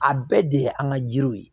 A bɛɛ de ye an ka jiriw ye